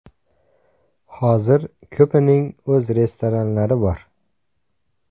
Hozir ko‘pining o‘z restoranlari bor.